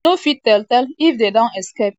no fit tell tell if dem don escape.